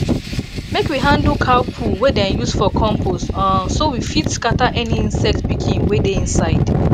make we handle cow poo wey dem use for compost um so we fit scatter any insect pikin wey dey inside